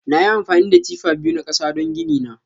Nayi amfani da tifa biyu na kasa don gini na.